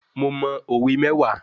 Mo mọ òwe mẹ́wàá